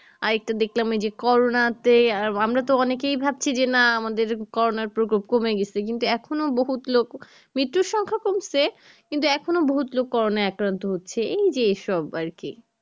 আর একটা দেখলাম যে করোনাতে আহ আমরা তো অনেকে ভাবছি যে না আমাদের করোনার প্রকোপ কমে গিয়েছে কিন্তু এখনো বহু লোক মৃত্যু সংখ্যা কমছে কিন্তু এখনো বহুত লোক করোনাই আকান্ত হচ্ছে এই যে সব আর কি